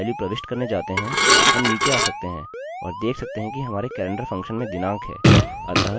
अतः 23rd पर click करने पर हम इस फील्ड के द्वारा ली गयी संरचना देख सकते हैं